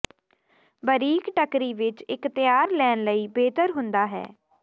ਬਾਰੀਕ ਟਰਕੀ ਵਿੱਚ ਇੱਕ ਤਿਆਰ ਲੈਣ ਲਈ ਬਿਹਤਰ ਹੁੰਦਾ ਹੈ